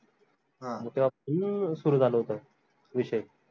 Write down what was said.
तेवा हम्म सुरु झालं होत विषय